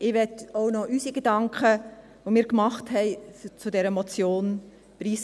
Ich möchte auch noch unsere Gedanken zu dieser Motion preisgeben.